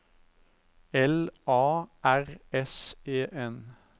L A R S E N